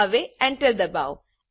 હવે એન્ટર દબાવો